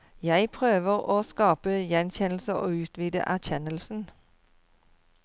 Jeg prøver å skape gjenkjennelse og utvide erkjennelsen.